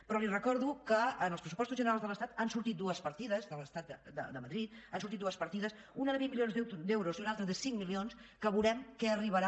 però li recordo que en els pressupostos generals de l’estat han sortit dues partides de madrid una de vint milions d’euros i una altra de cinc milions que veurem què arribarà